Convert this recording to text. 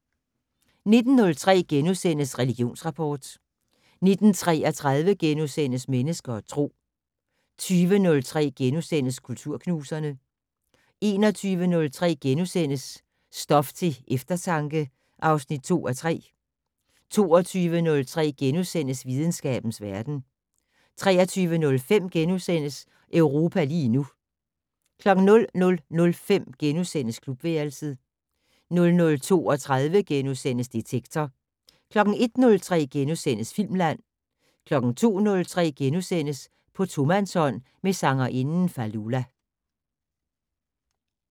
19:03: Religionsrapport * 19:33: Mennesker og Tro * 20:03: Kulturknuserne * 21:03: Stof til eftertanke (2:3)* 22:03: Videnskabens verden * 23:05: Europa lige nu * 00:05: Klubværelset * 00:32: Detektor * 01:03: Filmland * 02:03: På tomandshånd med sangerinden Fallulah *